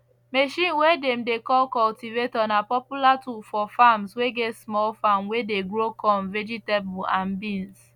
machine way dem dey call cultivator na popular tool for farms way get small farm way dey grow corn vegetable and beans